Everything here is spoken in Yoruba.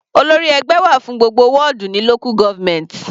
Olórí ẹgbẹ́ wà fún gbogbo wọ́dù ní local government.